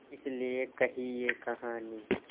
इस लिये कही ये कहानी